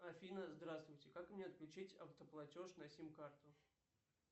афина здравствуйте как мне отключить автоплатеж на сим карту